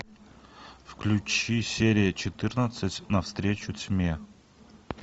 включи серия четырнадцать на встречу тьме